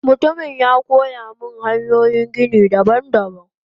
Mutumin yakoyamin hanyoyin gini daban daban.